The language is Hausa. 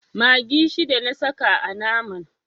Maggi shida na saka a naman.